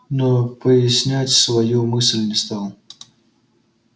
но прояснять свою мысль не стал